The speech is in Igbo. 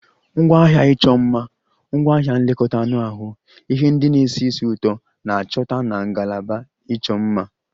Ngwaahịa ịchọ mma, ngwaahịa nlekọta anụ ahụ, ihe ndị na-esi ísì ụtọ na-achọta na ngalaba ịchọ mma